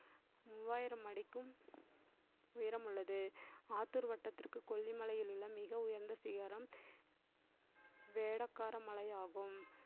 மூவாயிரம் அடிக்கும் உயரம் உள்ளது. ஆத்தூர் வட்டத்திற்கு கொல்லிமலையில் உள்ள மிக உயர்ந்த சிகரம் வேடக்கார மலையாகும்